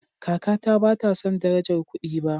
Kakata bata san darajar kudi ba